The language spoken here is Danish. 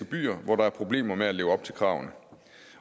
byer hvor der er problemer med at leve op til kravene